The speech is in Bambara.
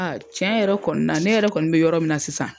Aa tiɲɛ yɛrɛ kɔni na ne yɛrɛ kɔni bɛ yɔrɔ min na sisan.